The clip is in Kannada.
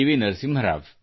ನರಸಿಂಹರಾವ್